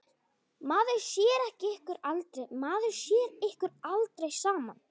Maður sér ykkur aldrei saman.